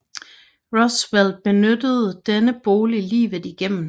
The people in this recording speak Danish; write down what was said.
Roosevelt benyttede denne bolig livet igennem